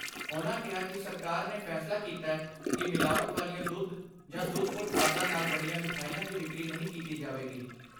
ਉਨ੍ਹਾਂ ਕਿਹਾ ਕਿ ਸਰਕਾਰ ਨੇ ਫੈਸਲਾ ਕੀਤੈ ਕਿ ਮਿਲਾਵਟ ਵਾਲੀਆਂ ਦੁੱਧ ਜਾਂ ਦੁੱਧ ਉਤਪਾਦਾਂ ਨਾਲ ਬਣੀਆਂ ਮਿਠਾਈਆਂ ਦੀ ਵਿਕਰੀ ਨਹੀਂ ਕੀਤੀ ਜਾਵੇਗੀ।